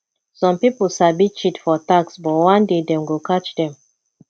some people sabi cheat for tax but one day dem go catch them